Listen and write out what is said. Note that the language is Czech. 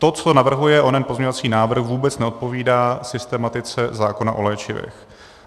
To, co navrhuje onen pozměňovací návrh, vůbec neodpovídá systematice zákona o léčivech.